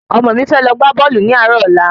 Ọmọ mi fẹ lọ gbá bọ́ọ̀lù ní àárò ọ̀la